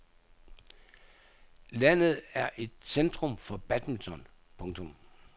Landet er et centrum for badminton. punktum